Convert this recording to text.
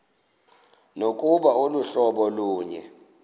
nokuba aluhlobo lunye